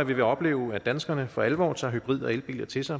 at vi vil opleve at danskerne for alvor tager hybrid og elbiler til sig